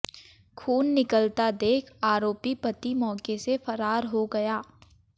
खून निकलता देख आरोपी पति मौके से फरार हो गया